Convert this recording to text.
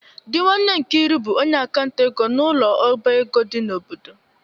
Di nwanne Nkiru bu onye akanta ego n'ulo oba ego di n'obodo.